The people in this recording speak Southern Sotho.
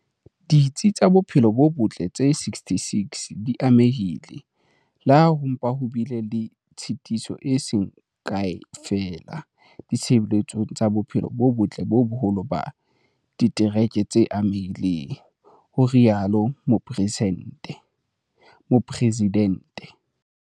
"Ditsi tsa bophelo bo botle tse 66 di amehile, le ha ho mpa ho bile le tshitiso e seng kae feela ditshebeletsong tsa bophelo bo botle ho boholo ba ditereke tse amehileng", ho rialo Mopre sidente.